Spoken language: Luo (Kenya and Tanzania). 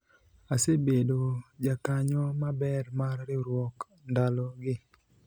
asebedo jakanyo maber mar riwruok ndalo gi